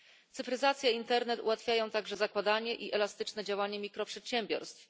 Cyfryzacja i internet ułatwiają także zakładanie i elastyczne działanie mikroprzedsiębiorstw.